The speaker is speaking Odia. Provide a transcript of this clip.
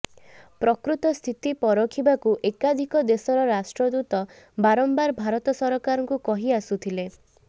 ପ୍ରକୃତ ସ୍ଥିତି ପରଖିବାକୁ ଏକାଧିକ ଦେଶର ରାଷ୍ଟ୍ରଦୂତ ବାରମ୍ବାର ଭାରତ ସରକାରଙ୍କୁ କହି ଆସୁଥିଲେ